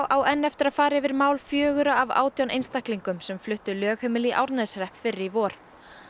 á enn eftir að fara yfir mál fjögurra af átján einstaklingum sem fluttu lögheimili í Árneshrepp fyrr í vor